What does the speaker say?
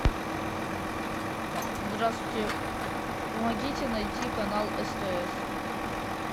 здравствуйте помогите найти канал стс